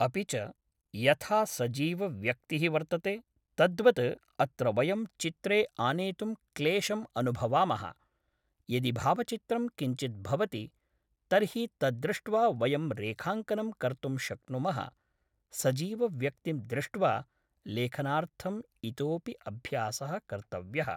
अपि च यथा सजीवव्यक्तिः वर्तते तद्वत् अत्र वयं चित्रे आनेतुं क्लेशम् अनुभवामः यदि भावचित्रं किञ्चित् भवति तर्हि तत् दृष्ट्वा वयं रेखाङ्कनं कर्तुं शक्नुमः सजीवव्यक्तिं दृष्ट्वा लेखनार्थम् इतोपि अभ्यासः कर्तव्यः